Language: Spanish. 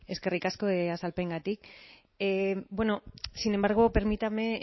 eskerrik asko azalpenengatik bueno sin embargo permítame